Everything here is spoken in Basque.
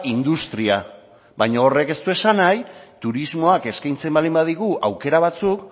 industria baina horrek ez du esan nahi turismoak eskaintzen baldin badigu aukera batzuk